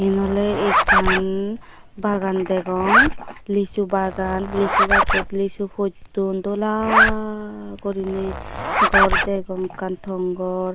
iyen oley ekkan bagan degong lisu bagan lisu gajjot lisu potton dola guriney gor degong ekka tong gor.